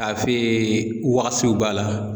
Tafe b'a la.